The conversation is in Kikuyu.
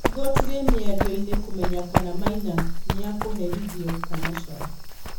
Igoti rĩ mĩiarioini kũmenya kana Maina nĩekuherithio kana ca.